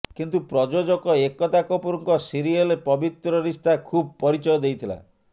କିନ୍ତୁ ପ୍ରଯୋଜକ ଏକତା କପୁରଙ୍କ ସିରିଏଲ୍ ପବିତ୍ର ରିସ୍ତା ଖୁବ୍ ପରିଚୟ ଦେଇଥିଲା